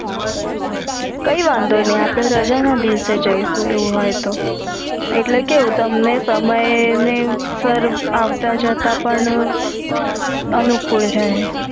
કઈ વાંધો નઈ અપડે રાજા ના દિવસે જઇસુ એવું હોય તો હમ એટલે કવું તમને સમય એ સર આવતા જતાં પણ અનુકૂડ રે